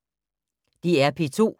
DR P2